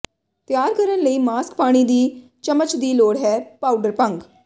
ਤਿਆਰ ਕਰਨ ਲਈ ਮਾਸਕ ਪਾਣੀ ਦੀ ਚਮਚ ਦੀ ਲੋੜ ਹੈ ਪਾਊਡਰ ਭੰਗ